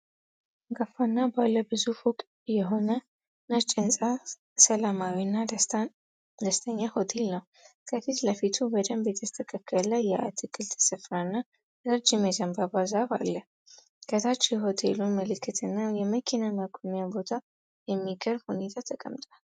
አንጋፋና ባለ ብዙ ፎቅ የሆነ ነጭ ህንጻ ሰላማዊና ደስተኛ ሆቴል ነው። ከፊት ለፊቱ በደንብ የተስተካከለ የአትክልት ስፍራና ረጅም የዘንባባ ዛፍ አለ። ከታች የሆቴሉን ምልክትና የመኪና ማቆሚያ ቦታ በሚገርም ሁኔታ ተቀምጧል።